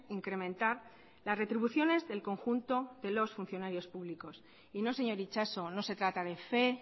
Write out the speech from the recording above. incrementar las retribuciones del conjunto de los funcionarios públicos y no señor itxaso no se trata de fe